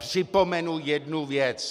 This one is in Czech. Připomenu jednu věc.